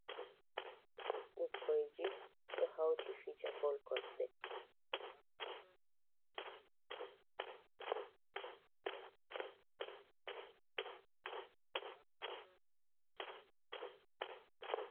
Ɓikkoi ji ɗo hauti fija bol kosɗe.